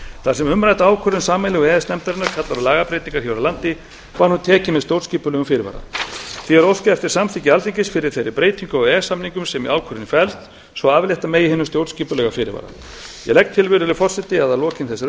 þar sem umrædd ákvörðun sameiginlegu e e s nefndarinnar kallar á lagabreytingar hér á landi var hún tekin með stjórnskipulegum fyrirvara því er óskað eftir samþykki alþingis fyrir þeirri breytingu á e e s samningnum sem í ákvörðuninni felst svo aflétta megi hinum stjórnskipulega fyrirvara ég legg til virðulegi forseti að að lokinni þessari